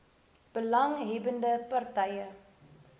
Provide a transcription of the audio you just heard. belang hebbende partye